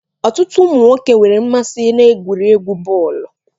Ọtụtụ ụmụ nwoke nwere mmasị n'egwuregwu bọọlu.